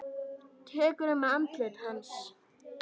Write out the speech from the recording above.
Tekur um andlit hans.